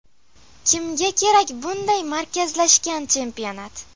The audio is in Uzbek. Kimga kerak bunday markazlashgan chempionat?